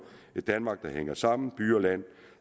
et danmark der hænger sammen by og land